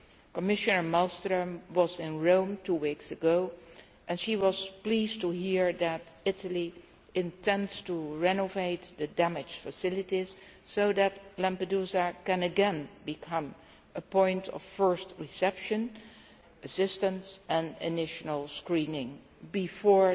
Commissioner Malmström was in Rome two weeks ago, and she was pleased to hear that Italy intends to renovate the damaged facilities so that Lampedusa can again become a point of first reception, assistance and initial screening before